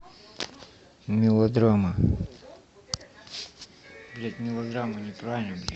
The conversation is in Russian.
мелодрама